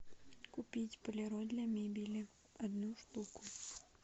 купить полироль для мебели одну штуку